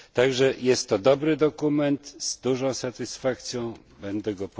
Także jest to dobry dokument, z dużą satysfakcją będę go